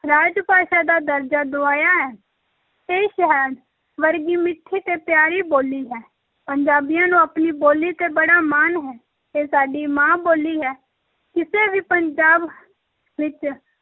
ਰਾਜ-ਭਾਸ਼ਾ ਦਾ ਦਰਜਾ ਦੁਆਇਆ ਹੈ, ਇਹ ਸ਼ਹਿਦ ਵਰਗੀ ਮਿੱਠੀ ਤੇ ਪਿਆਰੀ ਬੋਲੀ ਹੈ, ਪੰਜਾਬੀਆਂ ਨੂੰ ਆਪਣੀ ਬੋਲੀ ‘ਤੇ ਬੜਾ ਮਾਣ ਹੈ, ਇਹ ਸਾਡੀ ਮਾਂ-ਬੋਲੀ ਹੈ, ਕਿਸੇ ਵੀ ਪੰਜਾਬ ਵਿੱਚ